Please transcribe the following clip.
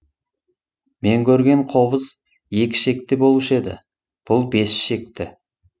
мен көрген қобыз екі ішекті болушы еді бұл бес ішекті